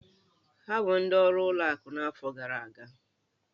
Ha bụ ndị ọrụ ụlọ akụ n'afọ gara aga?